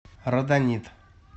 родонит